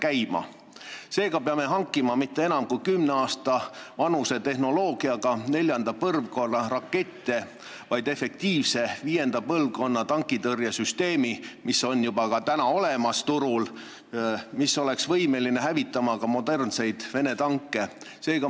Seega, me ei pea hankima enam kui kümne aasta vanuse tehnoloogiaga neljanda põlvkonna rakette, vaid efektiivse viienda põlvkonna tankitõrjesüsteemi, mis on juba turul olemas ja mis oleks võimeline ka modernseid Vene tanke hävitama.